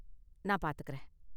நான் பார்த்துக்கறேன்.